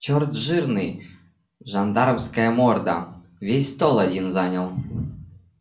черт жирный жандармская морда весь стол один занял